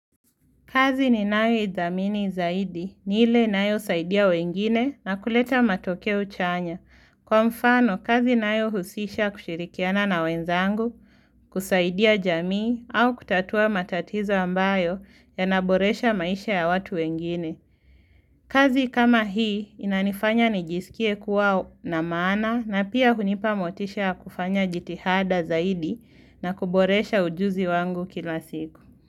Kazi ninayo ithamini zaidi ni ile inayosaidia wengine na kuleta matokeo chanya. Kwa mfano, kazi inayohusisha kushirikiana na wenzangu, kusaidia jamii au kutatua matatizo ambayo yanaboresha maisha ya watu wengine. Kazi kama hii inanifanya nijisikie kuwa na maana na pia hunipa motisha ya kufanya jitihada zaidi na kuboresha ujuzi wangu kila siku.